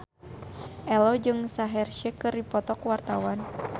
Ello jeung Shaheer Sheikh keur dipoto ku wartawan